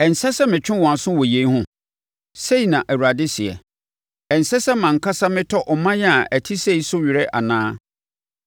Ɛnsɛ sɛ metwe wɔn aso wɔ yei ho?” Sei na Awurade seɛ. “Ɛnsɛ sɛ mʼankasa metɔ ɔman a ɛte sei so awere anaa?”